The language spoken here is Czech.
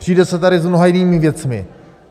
Přijde se tady s mnoha jinými věcmi.